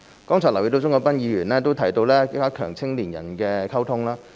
剛才留意到鍾國斌議員提到加強與青年人的溝通。